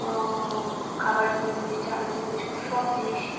অ-অ-অ- খাবার জিনিস চানাচুর বিস্কুট সব জিনিসই--